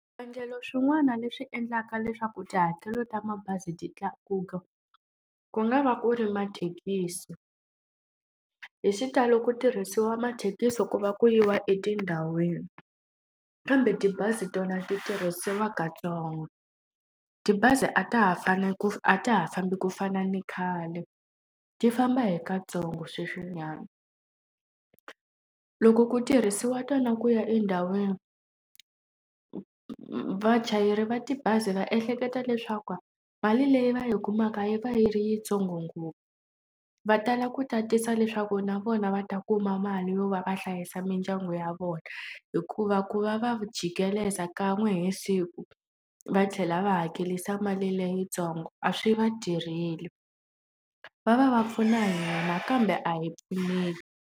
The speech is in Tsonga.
Swivangelo swin'wana leswi endlaka leswaku tihakelo ta mabazi ti tlakuka, ku nga va ku ri mathekisi. Hi xitalo ku tirhisiwa mathekisi ku va ku yiwa etindhawini, kambe tibazi tona ti tirhisiwa katsongo. Tibazi a ta ha ku a ta ha fambi ku fana ni khale, ti famba hi katsongo sweswinyana. Loko ku tirhisiwa tona ku ya endhawini, vachayeri va tibazi va ehleketa leswaku mali leyi va yi kumaka yi va yi ri yitsongo ngopfu. Va tala ku tatisa leswaku na vona va ta kuma mali yo va va hlayisa mindyangu ya ya vona. Hikuva ku va va jikeleza kan'we hi siku va tlhela va hakerisa mali leyitsongo, a swi va tirheli. Va va va pfuna hina kambe a hi pfuneki.